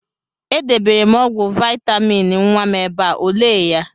E debere m ọgwụ vaịtamịn nwa m ebe a, o lee ya?